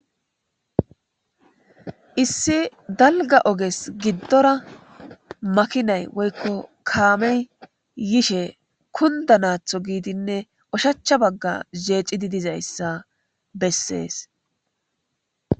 Issi daliga oges gidora makinay woy Kamey yishe kunidanatho gidinee ushacha baga jecidi dizaysa beses